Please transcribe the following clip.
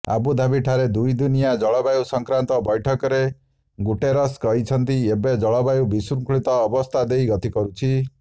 ଆବୁଧାବିଠାରେ ଦୁଇଦିନିଆ ଜଳବାୟୁ ସଂକ୍ରାନ୍ତ ବୈଠକରେ ଗୁଟେରସ୍ କହିଛନ୍ତି ଏବେ ଜଳବାୟୁ ବିଶୃଙ୍ଖଳିତ ଅବସ୍ଥା ଦେଇ ଗତି କରୁଛି